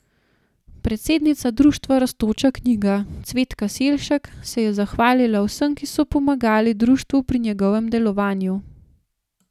Predsednica društva Rastoča knjiga Cvetka Selšek se je zahvalila vsem, ki so pomagali društvu pri njegovem delovanju.